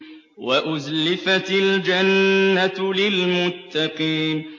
وَأُزْلِفَتِ الْجَنَّةُ لِلْمُتَّقِينَ